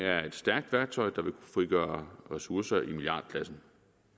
er et stærkt værktøj der vil frigøre ressourcer i milliardklassen